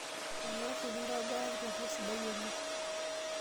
Olalashe kintobiraki to oltau sidai oleng.